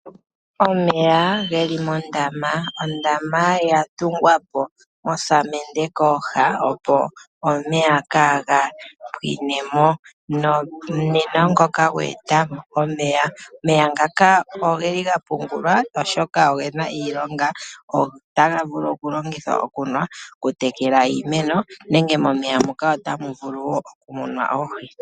Omeya ge li mondama. Ondama ya tungwapo mosamende kooha opo omeya kaa ga pwinemo. Nomunino ngokagwa etamo omeya. Omeya ngaka oge li ga pungulwa oshoka ogena iilonga, otaga vulu okulongithwa okunwa, okutekela iimeno nenge momeya moka otanu vulu wo okumunwa oohi.